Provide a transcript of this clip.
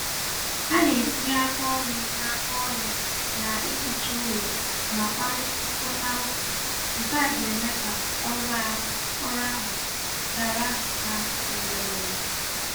Ha na-etinye aka ọnụ na aka ọnụ na ihicha ụlọ ma kparịkọta ụka, nkea ga-eme ka ọrụ ahụ gaara ha were were